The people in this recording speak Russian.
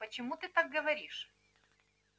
почему ты так говоришь